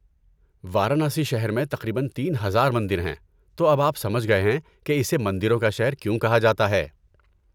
وارانسی شہر میں تقریباً تین ہزار مندر ہیں، تو اب آپ سمجھ گئے ہیں کہ اسے 'مندروں کا شہر' کیوں کہا جاتا ہے